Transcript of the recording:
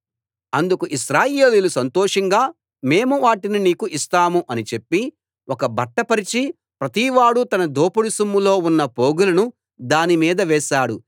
అందుకు ఇశ్రాయేలీయులు సంతోషంగా మేము వాటిని నీకు ఇస్తాము అని చెప్పి ఒక బట్ట పరచి ప్రతివాడూ తన దోపుడు సొమ్ములో ఉన్న పోగులను దాని మీద వేశాడు